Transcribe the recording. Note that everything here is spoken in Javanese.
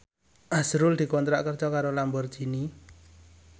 azrul dikontrak kerja karo Lamborghini